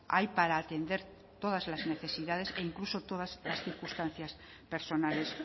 hay para atender todas las necesidades e incluso todas las circunstancias personales